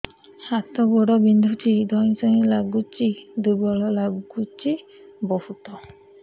ହାତ ଗୋଡ ବିନ୍ଧୁଛି ଧଇଁସଇଁ ଲାଗୁଚି ଦୁର୍ବଳ ଲାଗୁଚି ବହୁତ